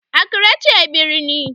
Accra ce babban birnin.